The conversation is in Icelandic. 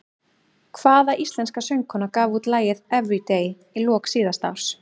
Hvaða íslenska söngkona gaf út lagið Everyday í lok síðasta árs?